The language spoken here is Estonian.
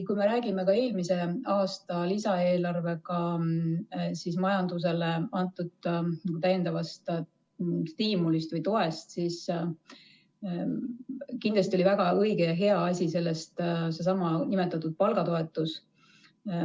Kui me räägime ka eelmise aasta lisaeelarvega majandusele antud täiendavast stiimulist või toest, siis kindlasti oli väga õige ja hea asi seesama nimetatud palgatoetus.